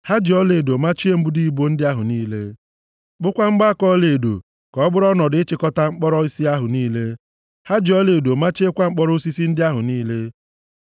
Ha ji ọlaedo machie mbudo ibo ndị ahụ niile. Kpụkwaa mgbaaka ọlaedo ka ọ bụrụ ọnọdụ ịchịkọta mkpọrọ osisi ahụ niile. Ha ji ọlaedo machiekwa mkpọrọ osisi ndị ahụ niile.